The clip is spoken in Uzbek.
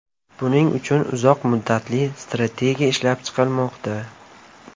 Buning uchun uzoq muddatli strategiya ishlab chiqilmoqda.